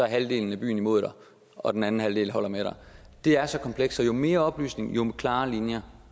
halvdelen af byen imod dig og den anden halvdel holder med dig det er så kompleks så jo mere oplysning jo klarere linjer